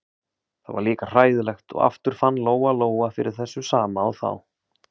Það var líka hræðilegt og aftur fann Lóa-Lóa fyrir þessu sama og þá.